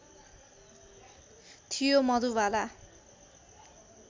थियो मधुबाला